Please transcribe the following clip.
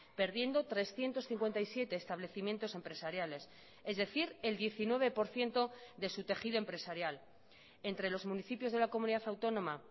perdiendo trescientos cincuenta y siete establecimientos empresariales es decir el diecinueve por ciento de su tejido empresarial entre los municipios de la comunidad autónoma